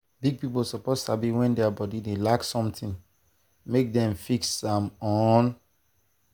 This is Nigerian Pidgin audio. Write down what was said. big people suppose sabi when body dey lack something make dem fix am on time.